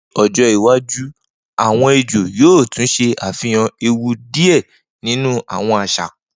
Ni ojo iwaju awọn ejo yoo tun ṣe afihan ewu ni diẹ ninu awọn aṣa